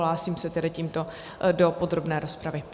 Hlásím se tedy tímto do podrobné rozpravy.